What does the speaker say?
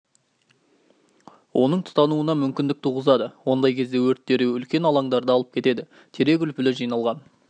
оның тұтануына мүмкіндік туғызады ондай кезде өрт дереу үлкен алаңдарды алып кетеді терек үлпілі жиналған